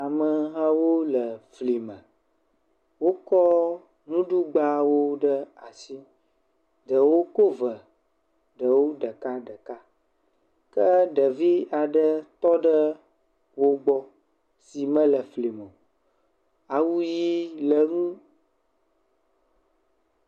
Ame hawo le fli me. Wokɔ nuɖigbawo ɖe asi. Ɖewo ko ve, ɖewo ɖekaɖeka ke ɖevia ɖe tɔ ɖe wo gbɔ si mele fli me o. awu ʋi le enu.